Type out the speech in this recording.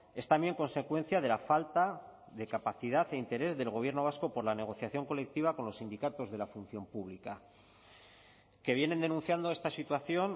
es también consecuencia de la falta de capacidad e interés del gobierno vasco por la negociación colectiva con los sindicatos de la función pública que vienen denunciando esta situación